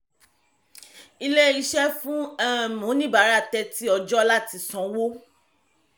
ilé-iṣẹ́ fún um oníbàárà thirty ọjọ́ láti sanwó.